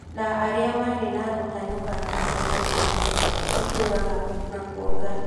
na arĩa marĩ na gũtanuka na kanua iria itũraga na kwonga